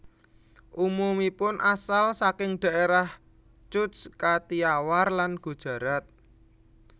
Umumipun asal saking daerah Cutch Kathiawar lan Gujarat